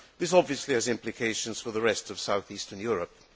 This obviously has implications for the rest of south eastern Europe.